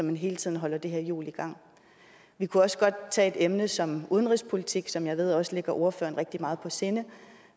man hele tiden holder det her hjul i gang vi kunne også godt tage et emne som udenrigspolitik som jeg ved også ligger ordføreren rigtig meget på sinde